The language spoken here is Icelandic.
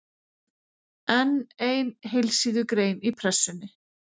Enn ein heilsíðugrein í Pressunni.